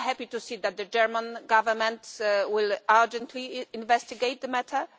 We are happy to see that the German Government will urgently investigate the matter.